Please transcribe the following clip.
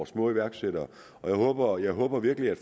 små iværksættere og jeg håber virkelig